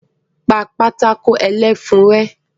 Pa pátákó ẹlẹ́fun rẹ́!